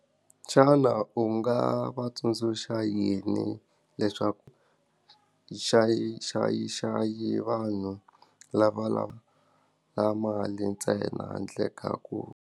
Xana u nga va tsundzuxa yini leswaku xa yi xa yi xa yi vanhu lava lava mali ntsena handle ka ku?